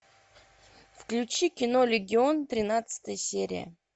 включи кино легион тринадцатая серия